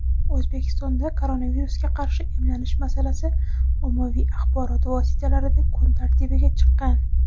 O‘zbekistonda koronavirusga qarshi emlanish masalasi ommaviy axborot vositalarida kun tartibiga chiqqan.